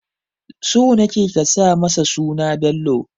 So nake ka sa masa suna Bello